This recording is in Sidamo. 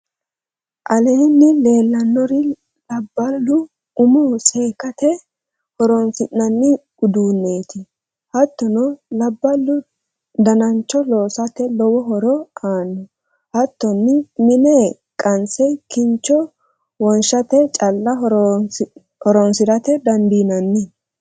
aleenni leellanori labbalu umo seekkate horoonsi'nanni udduneti. hattonni labballu danancho loosate lowo horo aanno. hattonni mine qanse kincho wonshate calla horoonsira dandinanni.